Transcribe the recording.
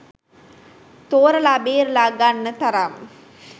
තෝරලා බේරලා ගන්න තරම්